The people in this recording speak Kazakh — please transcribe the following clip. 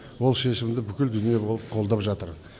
ол шешімді бүкіл дүние болып қолдап жатыр